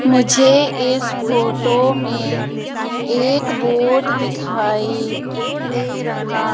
मुझे इस फोटो में एक बोर्ड दिखाई दे रहा--